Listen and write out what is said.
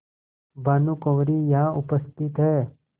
भानुकुँवरि यहाँ उपस्थित हैं